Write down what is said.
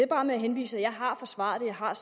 har